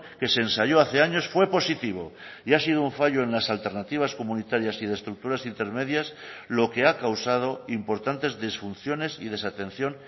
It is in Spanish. que se ensayó hace años fue positivo y ha sido un fallo en las alternativas comunitarias y de estructuras intermedias lo que ha causado importantes disfunciones y desatención